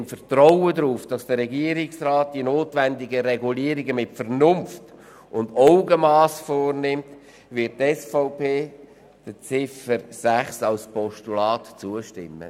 Im Vertrauen darauf, dass der Regierungsrat die notwendigen Regulierungen mit Vernunft und Augenmass vornimmt, wird die SVP der Ziffer 6 als Postulat zustimmen.